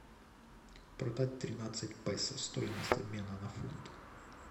продать тринадцать песо стоимость обмена на фунт